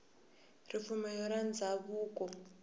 ripfumelo ra ndhavuko